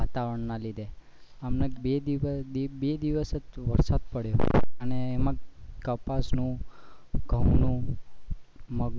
ઉતાવળ ના લીધે હમણાં બે દિવશ જ વરસાદ પડયો અને એમાં કપાસ નું અને ઘઉં નું મગ નું